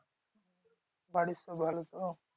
বাড়ির সব ভালো তো?